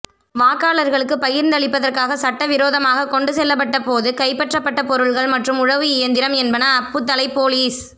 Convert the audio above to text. வாக்காளர்களுக்கு பகிர்ந்தளிப்பதற்காக சட்டவிரோதமாகக் கொண்டு செல்லப்பட்ட போது கைப்பற்றப்பட்ட பொருட்கள் மற்றும் உழவு இயந்திரம் என்பன அப்புத்தளை பொலிஸ்